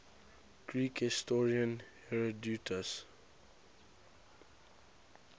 greek historian herodotus